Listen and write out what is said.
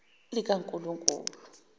likankulunkulu